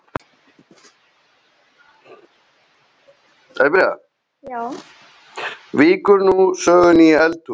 Víkur nú sögunni í eldhús.